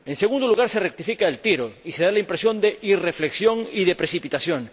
en segundo lugar se rectifica el tiro y se da la impresión de irreflexión y de precipitación